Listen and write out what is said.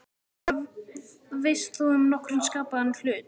Hvað veist þú um nokkurn skapaðan hlut!?